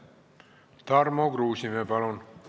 Tarmo Kruusimäe, palun!